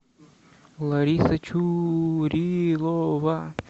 лариса чурилова